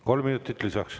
Kolm minutit lisaks.